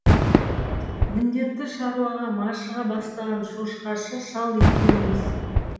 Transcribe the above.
міндетті шаруаға машыға бастаған шошқашы шал екеуіміз